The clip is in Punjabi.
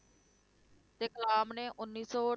ਤੇ ਕਲਾਮ ਨੇ ਉੱਨੀ ਸੌ